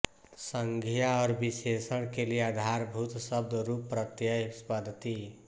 संज्ञा और विशेषण के लिए आधारभूत शब्दरूप प्रत्यय पद्धति